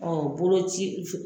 Ɔ bolo ci